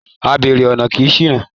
Abèrè ọ̀nà kì í ṣìnà